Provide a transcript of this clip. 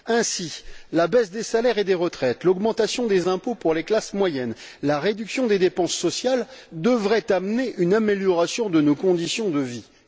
Ainsi, la baisse des salaires et des retraites, l'augmentation des impôts pour les classes moyennes, la réduction des dépenses sociales devraient amener une amélioration de nos conditions de vies.